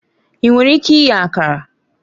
Ị nwere ike ighe Akara?